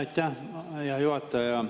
Aitäh, hea juhataja!